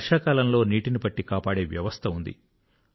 వర్షాకాలంలో నీటిని పట్టికాపాడే వ్యవస్థ ఉంది